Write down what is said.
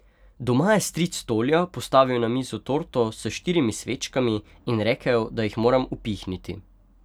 Doma je stric Tolja postavil na mizo torto s štirimi svečkami in rekel, da jih moram upihniti.